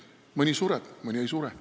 Mõni sureb, mõni ei sure.